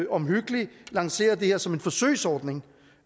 omhyggeligt lanceret det her som en forsøgsordning